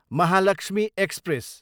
Mahalakshmi express